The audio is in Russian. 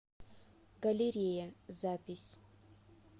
галерея запись